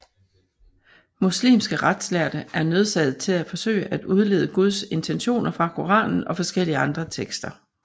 Muslimske retslærde er nødsaget til at forsøge at udlede Guds intentioner fra Koranen og forskellige andre tekster